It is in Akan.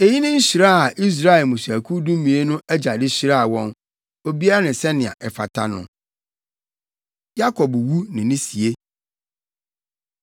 Eyi ne nhyira a Israel mmusuakuw dumien no agya de hyiraa wɔn; obiara ne sɛnea ɛfata no. Yakob Wu Ne Ne Sie